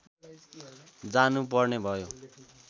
जानु पर्ने भयो